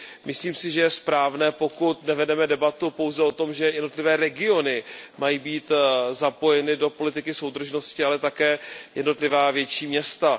Myslím si, že je správné, pokud nevedeme debatu pouze o tom, že jednotlivé regiony mají být zapojeny do politiky soudržnosti, ale také jednotlivá větší města.